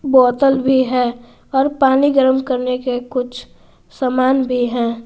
बोतल भी है और पानी गर्म करने के कुछ समान भी हैं।